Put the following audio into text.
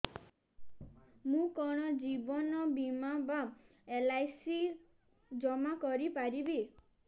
ମୁ କଣ ଜୀବନ ବୀମା ବା ଏଲ୍.ଆଇ.ସି ଜମା କରି ପାରିବି